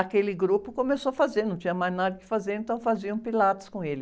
aquele grupo começou a fazer, não tinha mais nada que fazer, então faziam Pilates com ele.